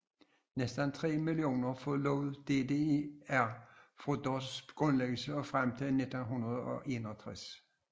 Næsten 3 millioner forlod DDR fra dets grundlæggelse og frem til 1961